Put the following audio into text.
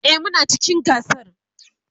e Muna cikin gasar